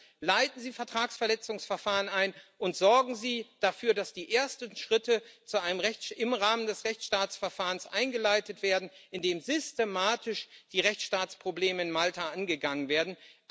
Also leiten Sie Vertragsverletzungsverfahren ein und sorgen Sie dafür, dass die ersten Schritte im Rahmen des Rechtsstaatsverfahrens eingeleitet werden, in dem systematisch die Rechtsstaatsprobleme in Malta angegangen werden.